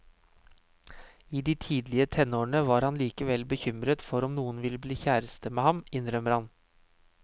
I de tidlige tenårene var han likevel bekymret for om noen ville bli kjæreste med ham, innrømmer han.